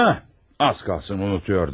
Hə, az qala unudurdum.